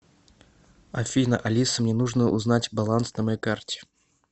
афина алиса мне нужно узнать баланс на моей карте